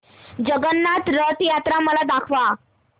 जगन्नाथ रथ यात्रा मला दाखवा